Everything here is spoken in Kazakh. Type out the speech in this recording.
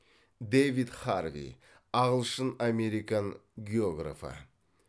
дэвид харви ағылшын американ географы